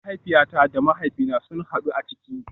Mahaifiyata da mahaifina sun hadu a ciki